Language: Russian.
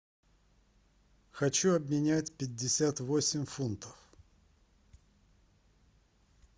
хочу обменять пятьдесят восемь фунтов